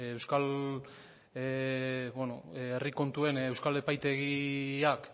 herri kontuen euskal epaitegiak